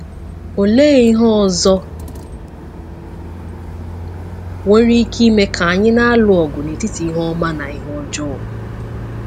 Olee ihe ọzọ nwere ike ime ka anyị na-alụ ọgụ n’etiti ihe ọma na ihe ọjọọ?